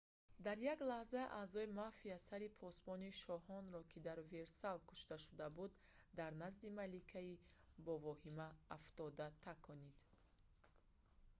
дар як лаҳза аъзои мафия сари посбони шоҳонро ки дар версал кушта шуда буд дар назди маликаи ба воҳима афтода таконид